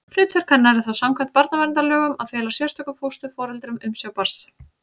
Hlutverk hennar er þá samkvæmt barnaverndarlögum að fela sérstökum fósturforeldrum umsjá barns.